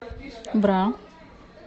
бра